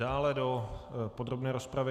Dále do podrobné rozpravy?